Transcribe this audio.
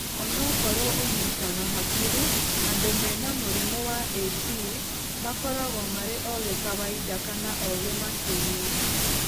Onokorwo ũnyitaga hakiri, andũ mena mũrimũ wa A T makoragwo marĩ ogĩ kawaida kana ogĩ makĩria.